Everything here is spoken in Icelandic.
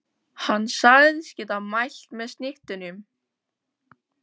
Hann sagðist geta mælt með snittunum.